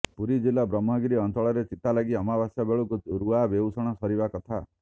ପୁରୀ ଜିଲ୍ଲା ବ୍ରହ୍ମଗିରି ଅଞ୍ଚଳର ଚିତାଲାଗି ଅମାବାସ୍ୟା ବେଳକୁ ରୁଆ ବେଉଷଣ ସରିବା କଥା